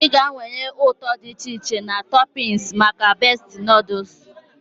Ị ga-anwale ụtọ dị iche iche na toppings maka Bestie noodles.